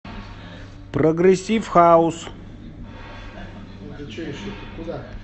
прогрессив хаус